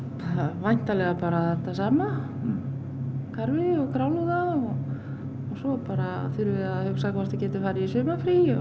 væntanlega bara þetta sama karfi og grálúða svo bara þurfum við að hugsa hvort við getum farið í sumarfrí já